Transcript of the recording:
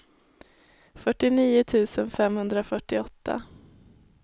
fyrtionio tusen femhundrafyrtioåtta